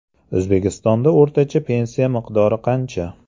O‘zbekistonda o‘rtacha pensiya miqdori qancha?.